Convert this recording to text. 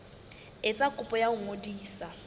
etsa kopo ya ho ngodisa